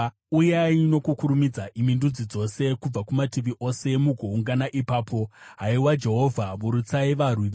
Uyai nokukurumidza, imi ndudzi dzose, kubva kumativi ose mugoungana ipapo. Haiwa Jehovha, burutsai varwi venyu.